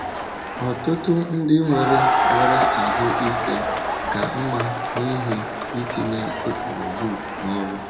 Ọtụtụ ndị nwere nwere ahụ́ ike ka mma n’ihi itinye ụkpụrụ book n’ọrụ.